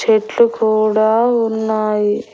చెట్లు కూడా ఉన్నాయి.